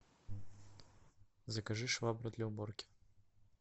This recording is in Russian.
закажи швабру для уборки